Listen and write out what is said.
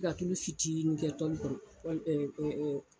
Tiga tulu fitiini kɛ pɔli kɔnɔ.